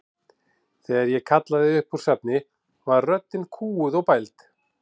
Þegar ég kallaði upp úr svefni var röddin kúguð og bæld.